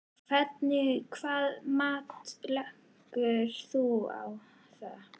Hvernig hvaða mat leggur þú á það?